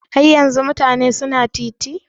Har yanzun mutane su na titi?